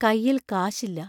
കൈയിൽ കാശില്ല.